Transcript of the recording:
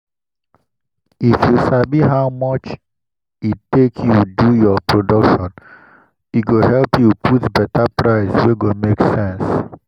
if you sabi how much e take you do your production e go help you put better price wey go make sense.